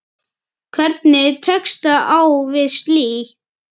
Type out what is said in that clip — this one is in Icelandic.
Hvernig tekstu á við slíkt?